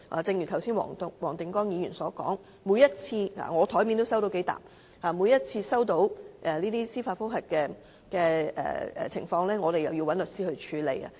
正如剛才黃定光議員所說，每次收到這些司法覆核的信件——我檯面也收到數疊——我們便要找律師處理。